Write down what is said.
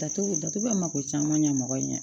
Datugu datugula mako caman ɲa mɔgɔ ye